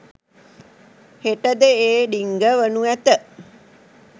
හෙටද ඒ ඩිංග වනු ඇත